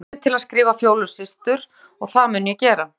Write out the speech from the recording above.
Hún hvatti mig til að skrifa Fjólu systur og það mun ég gera.